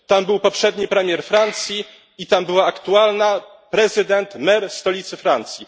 Tam był poprzedni premier Francji i tam była aktualna mer stolicy Francji.